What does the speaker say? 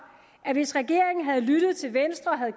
at hvis regeringen havde lyttet til venstre og havde